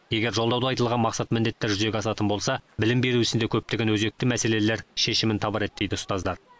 егер жолдауда айтылған мақсат міндеттер жүзеге асатын болса білім беру ісінде көптеген өзекті мәселелер шешімін табар еді дейді ұстаздар